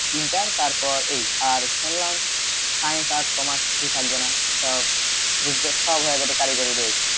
inter তারপর এই আর শুনলাম science arts commerce কিছুই থাকবে না সব হয়ে যাবে কারিগরী base